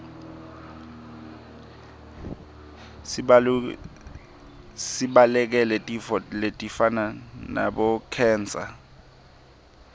sibalekele tifo letifana nabo khensa